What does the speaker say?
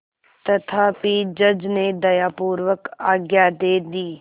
तथापि जज ने दयापूर्वक आज्ञा दे दी